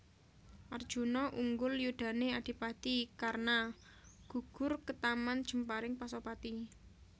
Arjuna unggul yudhane Adipati Karna gugur ketaman jemparing Pasopati